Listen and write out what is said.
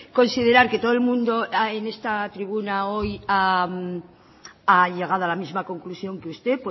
considerar que todo el mundo en esta tribuna hoy ha llegado a la misma conclusión que usted